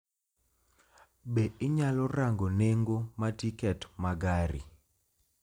Be inyalo rango nengo ma tiket ma gari